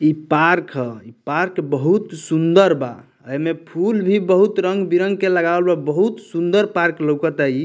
इ पार्क हअ पार्क बहुत सुन्दर बा एमे फूल भी बहुत रंग बिरंग के लगावल बा बहुत सुन्दर पार्क लौकता इ।